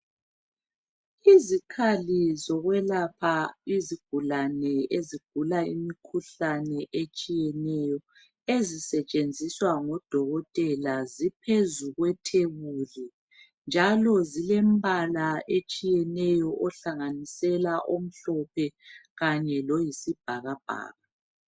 Izikhali zokwelapha izigulane ezigula imikhuhlane etshiyeneyo ezisetshenziswa ngudokotela ziphezu kwetebuli njalo zilempala etshiyeneyo ohlanganisela omhlophe Kanye loyisibhakabhaka